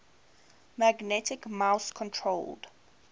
magnetic mouse controlled